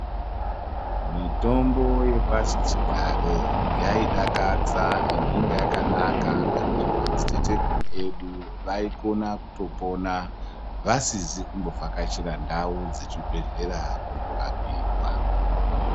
Mitombo yepasichigare yaidakadza endi inga yakanaka ngekuti madziteteguru edu vaikona kutopona vasizi kumbovhakachira ndau dzechibhehlera kundorapwa.